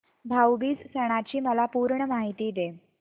भाऊ बीज सणाची मला पूर्ण माहिती दे